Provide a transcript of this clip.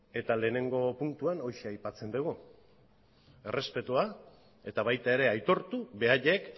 eta lehenengo puntuan horixe aipatzen dugu errespetua eta baita ere aitortu beraiek